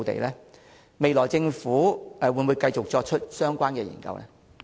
政府未來會否繼續進行相關研究？